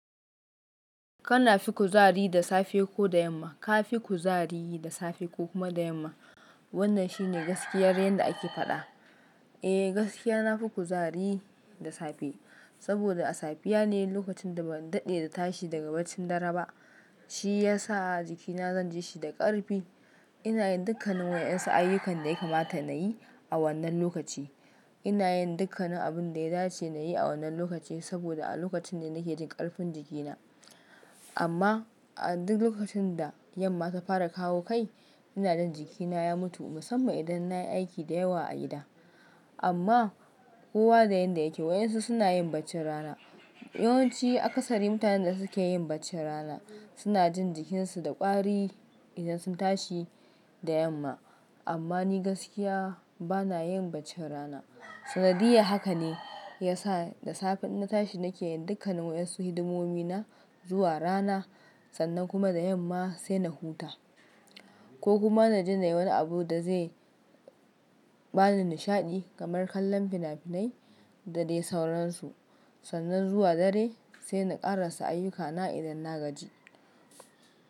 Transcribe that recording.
Kana fi kuzari da safe ko da yamma? Ka fi kuzari da safe ko kuma da yamma? Kana fi kuzari da safe ko da yamma? Ka fi kuzari da safe ko kuma da yamma? Kana fi kuzari da safe ko da yamma? Ka fi kuzari da safe ko kuma da yamma? Eh, gaskiya na fi kuzari da safe saboda a safiya ne lokacin da ban daɗe da tashi daga bacin dare ba, shi ya sa jikina zan je shi da ƙarfi. Ina yin dukkannin wa'yansu ayyukan da ya kamata na yi a wannan lokaci. Ina yin dukkannin abun da ya dace na yi a wannan lokaci saboda a lokacin ne nake jin ƙarfin jikina. Amma a duk lokacin da yamma ta fara kawo kai, ina jin jikina ya mutu musamman idan na yi aiki da yawa a gida. Amma kowa da yanda yake, wa'yansu suna yin bacci rana. Yawanci akasari mutanen da suke yin bacci rana suna jin jikinsu da ƙwari idan sun tashi da yamma. Sannan kuma da yamma sai na huta amma ni gaskiya bana yin bacci rana. Sanadiyya haka ne ya sa da safe idan na tashi nake yin dukkannin wa'yansu hidimomi na zuwa rana ko kuma na ji na yi wani abu da zai ba ni nishaɗi kamar kallon fina-finai da dai sauransu.